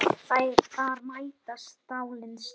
Þar mætast stálin stinn.